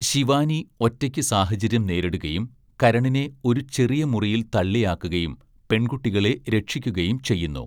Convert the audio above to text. ശിവാനി ഒറ്റയ്ക്ക് സാഹചര്യം നേരിടുകയും കരണിനെ ഒരു ചെറിയ മുറിയിൽ തള്ളിയാക്കുകയും പെൺകുട്ടികളെ രക്ഷിക്കുകയും ചെയ്യുന്നു.